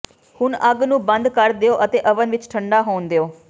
ਹੁਣ ਅੱਗ ਨੂੰ ਬੰਦ ਕਰ ਦਿਓ ਅਤੇ ਓਵਨ ਵਿਚ ਠੰਢਾ ਹੋਣ ਦਿਓ